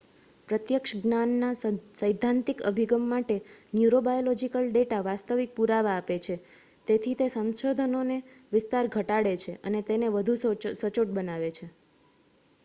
પ્રત્યક્ષ જ્ઞાનના સૈદ્ધાંતિક અભિગમ માટે ન્યુરોબાયોલોજિકલ ડેટા વાસ્તવિક પુરાવા આપે છે તેથી તે સંશોધનનો વિસ્તાર ઘટાડે છે અને તેને વધુ સચોટ બનાવે છે